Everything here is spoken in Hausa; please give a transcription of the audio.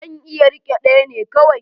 Zan iya rike ɗaya ne kawai.